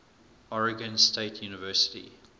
oregon state university